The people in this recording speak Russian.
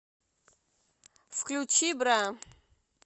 включи бра